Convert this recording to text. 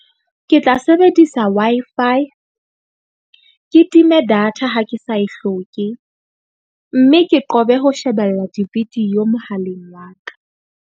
Ke tla sebedisa Wi-Fi ke time data ha ke sa e hloke. Mme ke qobe ho shebella di-video mohaleng wa ka.